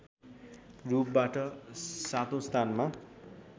रूपबाट सातौँ स्थानमा